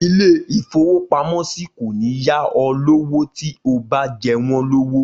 Ilé-ìfowópamọ́sí kò ní yá ọ lówó tí o bá jẹ wọ́n lówó.